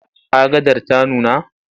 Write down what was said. Agadar ta nuna?